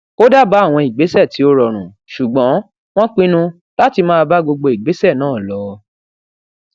ó dábàá àwọn ìgbésè tí ó rọrùn ṣùgbọn wón pinnu láti máa bá gbogbo ìgbésè náà lọ